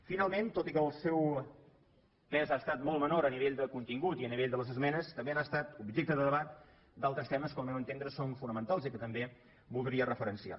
finalment tot i que el seu pes ha estat molt menor a nivell de contingut i a nivell de les esmenes també han estat objecte de debat d’altres temes que al meu entendre són fonamentals i que també voldria referenciar